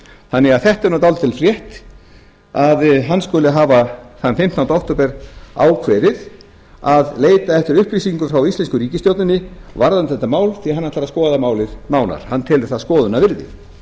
þannig að þetta er nú dálítil frétt að hann skuli hafa þann fimmtánda október ákveðið að leita eftir upplýsingum frá íslensku ríkisstjórninni varðandi þetta mál því hann ætlar að skoða málið nánar hann telur það skoðunarvirði